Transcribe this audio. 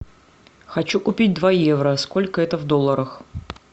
хочу купить два евро сколько это в долларах